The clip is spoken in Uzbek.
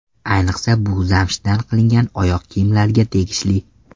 Ayniqsa bu zamshdan qilingan oyoq kiyimlarga tegishli.